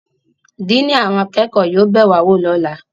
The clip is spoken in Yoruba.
Diini awọn akẹko yóò be wa wo lọla